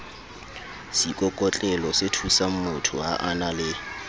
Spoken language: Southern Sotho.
seikokotlelosethusangmotho ha a na le